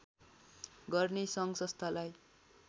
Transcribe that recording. गर्ने सङ्घ संस्थालाई